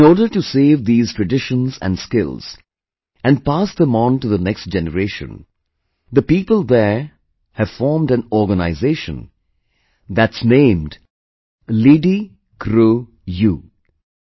In order to save these traditions and skills and pass them on to the next generation, the people there have formed an organization, that's name is 'LidiCroU'